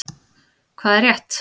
Hvað er rétt?